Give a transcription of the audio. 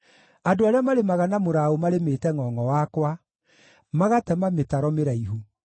Andũ arĩa marĩmaga na mũraũ marĩmĩte ngʼongʼo wakwa, magatema mĩtaro mĩraihu.